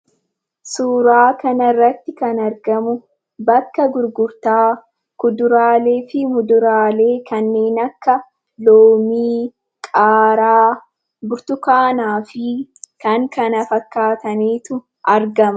Suuraa kanarratti kan argamu, bakka gurgurtaa kuduraalee fi muduraalee kanneen akka: loomii, qaaraa, burtukaanaa fi kan kana fakkatanitu argama.